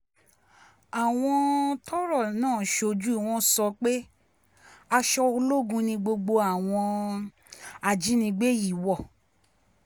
àwọn um tọ́rọ̀ náà ṣojú wọn sọ pé aṣọ ológun ni gbogbo àwọn um ajínigbé yìí wọ̀